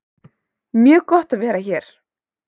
Mjög gott að vera hér